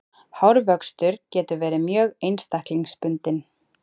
hárvöxtur getur verið mjög einstaklingsbundinn